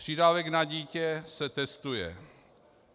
Přídavek na dítě se testuje.